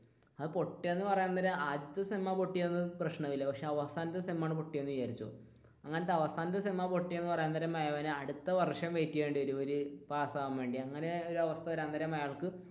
പൊട്ടിയത് എന്ന് പറയാൻ നേരം ആദ്യത്തെ സേം ആണ് പൊട്ടിയത് എങ്കിൽ പ്രശ്നമില്ല പക്ഷെ അവസാനത്തെ സേം ആണ് പൊട്ടിയത് എന്ന് വിചാരിച്ചോ എന്നാൽ അവസാനത്തെ സേം പൊട്ടിയത് എന്ന് പറയും അടുത്തവർഷം വെയിറ്റ് ചെയ്യേണ്ടി വരും പാസാകാൻ വേണ്ടി അങ്ങനെ